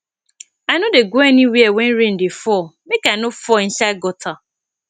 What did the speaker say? i no dey go anywhere wen rain dey fall make i no fall inside gutter